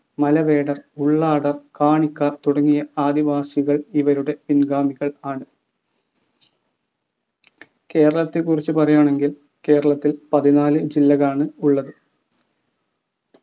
മലവേടർ ഉള്ളാടർ കാണിക്കാർ തുടങ്ങിയ ആദിവാസികൾ ഇവരുടെ പിൻഗാമികൾ ആണ് കേരളത്തെ കുറിച്ച് പറയുകയാണെങ്കിൽ കേരളത്തിൽ പതിനാല് ജില്ലകൾ ആണ് ഉള്ളത്